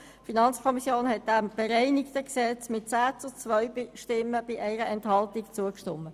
Die FiKo hat dem bereinigten Gesetz mit 10 zu 2 Stimmen bei 1 Enthaltung zugestimmt.